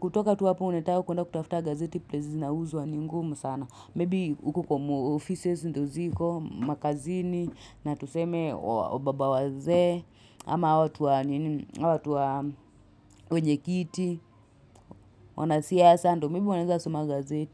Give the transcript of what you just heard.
Kutoka tu hapo unataka kuenda kutafuta gazeti plelace zina uzwa ni ngumu sana Maybe huku kwa ofises ndo ziko, makazini, na tuseme wababa waze ama hao watu wa wenjekiti, wanasia ndo maybe wanaweza soma gazeti.